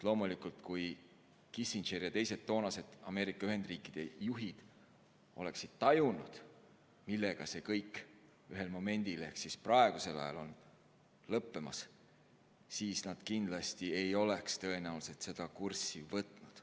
Loomulikult, kui Kissinger ja teised toonased Ameerika Ühendriikide juhid oleksid tajunud, millega see kõik ühel momendil ehk siis praegusel ajal on lõppemas, siis nad kindlasti, tõenäoliselt ei oleks seda kurssi võtnud.